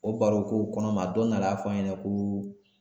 O baro ko kɔnɔ ma a don dɔ la a y'a fɔ n ɲɛna ko